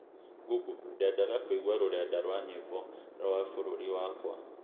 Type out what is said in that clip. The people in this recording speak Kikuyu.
Google ndendandaga kũigua rũrenda rwa nyĩmbo rwa bũrũri wakwa